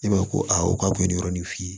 E b'a fɔ ko a k'a kun ye nin yɔrɔ nin f'i ye